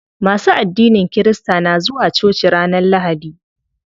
Masu addinin kirista na zuwa coci ranar lahadi.